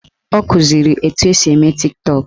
Ọ kụziri etu esi eme Tiktọk